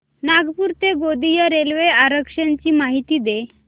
नागपूर ते गोंदिया रेल्वे आरक्षण ची माहिती दे